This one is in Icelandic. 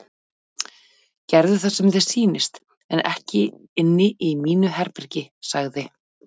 Gerðu það sem þér sýnist en ekki hér inni í mínu herbergi sagði